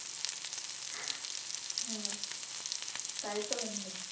হ্যাঁ, তাই তাই তো মনে হচ্ছে,